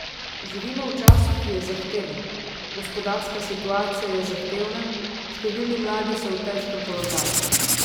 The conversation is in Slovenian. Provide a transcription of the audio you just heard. Živimo v času, ki je zahteven, gospodarska situacija je zahtevna, številni mladi so v težkem položaju.